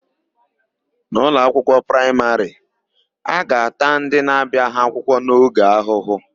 N'ụlọakwụkwọ praịmarị, a ga-ata ndị na-abiaghị akwụkwọ n'oge ahụhụ.